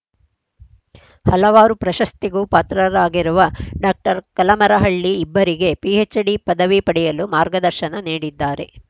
ಹಲವಾರು ಪ್ರಶಸ್ತಿಗೂ ಪಾತ್ರರಾಗಿರುವ ಡಾಕ್ಟರ್ ಕಲಮರಹಳ್ಳಿ ಇಬ್ಬರಿಗೆ ಪಿಎಚ್‌ಡಿ ಪದವಿ ಪಡೆಯಲು ಮಾರ್ಗದರ್ಶನ ನೀಡಿದ್ದಾರೆ